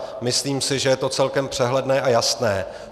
Myslím si, že je to celkem přehledné a jasné.